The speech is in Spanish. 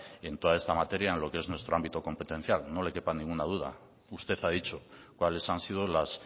en toda esta materia en lo que es nuestro ámbito competencial no le quepa ninguna duda usted ha dicho cuáles han sido las